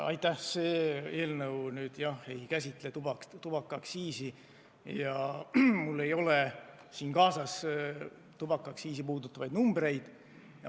Aitäh, see eelnõu ei käsitle tubaaktsiisi ja mul ei ole siin kaasas selle kohta käivaid numbreid.